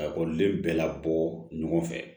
Ka ekɔliden bɛɛ la bɔ ɲɔgɔn fɛ